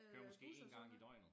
Jo måske én gang i døgnet